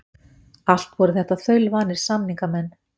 Allt voru þetta þaulvanir samningamenn.